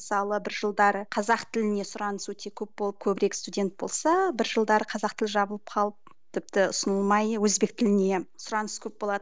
мысалы бір жылдары қазақ тіліне сұраныс өте көп болып көбірек студент болса бір жылдары қазақ тілі жабылып қалып тіпті ұсынылмай өзбек тіліне сұраныс көп болады